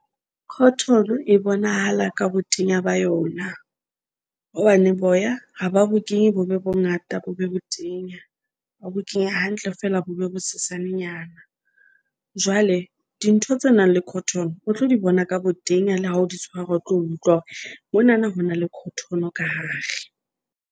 Cotton e bonahala ka botenya ba yona hobane boya ha ba bo kenye bo be bongata, bo be botenya. Ba bo kenya hantle feela bo be bo sesanenyana. Jwale dintho tse nang le Cotton o tlo di bona ka botenya le ha o di tshwara o tlo utlwa hore monana ho na le Cotton ka hare.